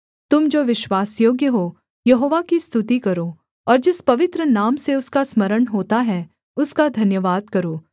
तुम जो विश्वासयोग्य हो यहोवा की स्तुति करो और जिस पवित्र नाम से उसका स्मरण होता है उसका धन्यवाद करो